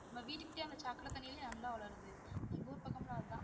நம்ம வீட்டுக்கு பின்னாடி சாக்கடை தண்ணிலேயே நல்லா வளருது எங்க ஊர் பக்கம்லாம் அதான்